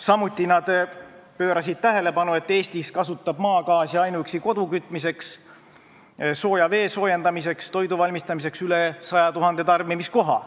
Samuti pöörasid nad tähelepanu sellele, et Eestis kasutatakse maagaasi kodu kütmiseks, vee soojendamiseks ja toidu valmistamiseks rohkem kui 100 000 tarbimiskohas.